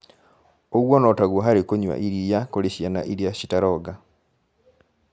Ũguo notaguo harĩ kũnyua iria kũrĩ ciana iria citaronga